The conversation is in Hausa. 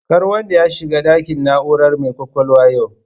Kar wanda ya shiga ɗakin na'urar mai kwakwalwa yau